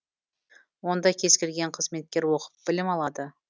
онда кез келген қызметкер оқып білім алады